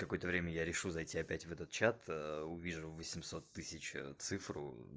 такое-то время я решил зайти опять в этот чат увижу восемьсот тысяч а цифру